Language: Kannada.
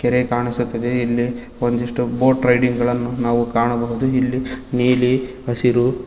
ಕೆರೆ ಕಾಣಿಸುತ್ತದೆ ಇಲ್ಲಿ ಒಂದಿಷ್ಟು ಬೋಟ್ ರೈಡಿಂಗ್ ಗಳನ್ನು ನಾವು ಕಾಣಬಹುದು ಇಲ್ಲಿ ನೀಲಿ ಹಸಿರು--